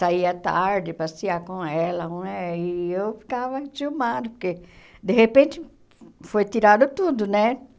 Saía tarde, passear com ela, eh e eu ficava entiumada, porque, de repente, foi tirado tudo, né?